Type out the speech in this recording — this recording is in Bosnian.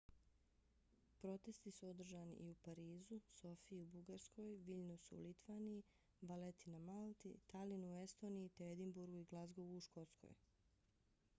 protesti su održani i u parizu sofiji u bugarskoj viljnusu u litvaniji valeti na malti talinu u estoniji te edinburgu i glazgovu u škotskoj